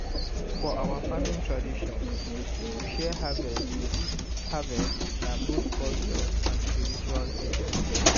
for our farming tradition to share harvest harvest na both culture and spiritual thing.